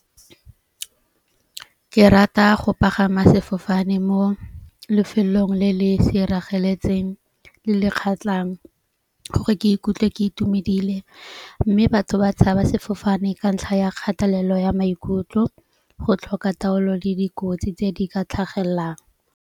Ke rata go pagama sefofane mo lefelong le le sirageletseng le le kgatlang gore ke ikutlwe ke itumedile. Mme batho ba tshaba sefofane ka ntlha ya kgatelelo ya maikutlo, go tlhoka taolo le dikotsi tse di ka tlhagellang.